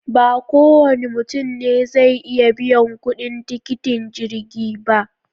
Ba kowane mutum ne zai iya biyan kuɗin tiketin jirgi ba